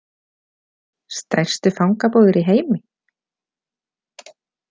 Stærstu fangabúðir í heimi?